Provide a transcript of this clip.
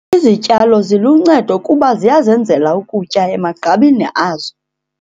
Izityalo ziluncedo kuba ziyazenzela ukutya emagqabini azo.